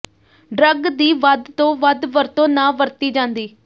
drug ਦੀ ਵੱਧ ਤੋਂ ਵੱਧ ਵਰਤੋਂ ਨਾ ਵਰਤੀ ਜਾਂਦੀ